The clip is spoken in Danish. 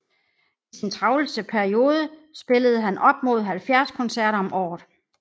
I sin travleste periode spillede han op mod 70 koncerter om året